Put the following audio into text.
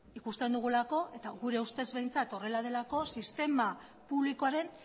ikusten dugulako eta gure ustez behintzat horrela delako sistema publikoaren